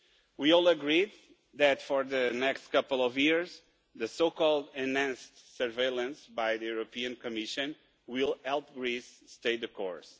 We all agree that for the next couple of years, the so-called enhanced surveillance by the European Commission will help Greece stay the course.